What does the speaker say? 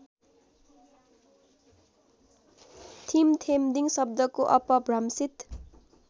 थिमथेमदिङ शब्दको अपभ्रंशीत